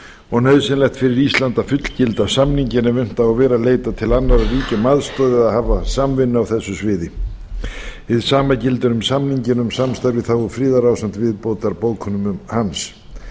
og nauðsynlegt fyrir ísland að fullgilda samninginn ef unnt á að vera að leita til annarra ríkja um aðstoð eða hafa samvinnu á þessu sviði hið sama gildir um samninginn um samstarf í þágu friðar ásamt viðbótarbókunum hans